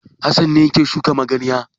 Hassan ne yake shuka magarya.